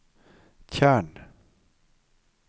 tjern